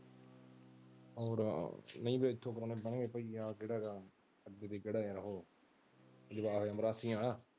ਕੇਹੜਾ ਆ ਉਹ ਮਰਾਸੀਆਂ ਵਾਲਾ।